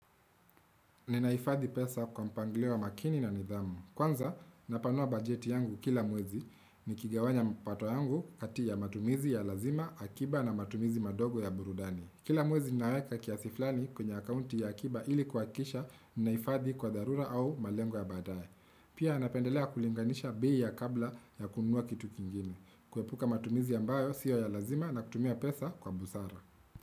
Ninaifadhi pesa kwa mpangilio makini na nidhamu. Kwanza, napanua bajeti yangu kila mwezi nikigawanya mpato yangu kati ya matumizi ya lazima akiba na matumizi madogo ya burudani. Kila mwezi ninaweka kiasi flani kwenye akounti ya akiba ili kuakisha ninaifadhi kwa dharura au malengo ya badaye. Pia napendelea kulinganisha bei ya kabla ya kunua kitu kingine. Kuepuka matumizi ambayo siyo ya lazima na kutumia pesa kwa busara.